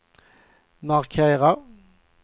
markera